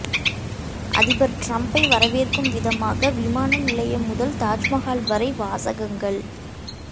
அதிபர் டிரம்பை வரவேற்கும் விதமாக விமான நிலையம் முதல் தாஜ்மகால் வரை வாசகங்கள்